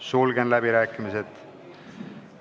Sulgen läbirääkimised.